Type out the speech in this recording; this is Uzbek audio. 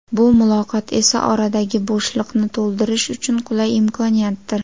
Bu muloqot esa oradagi bo‘shliqni to‘ldirish uchun qulay imkoniyatdir.